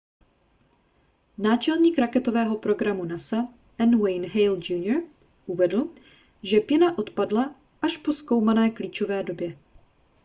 náčelník raketového programu nasa n wayne hale jr uvedl že pěna odpadla až po zkoumané klíčové době